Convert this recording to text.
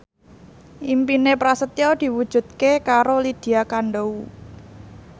impine Prasetyo diwujudke karo Lydia Kandou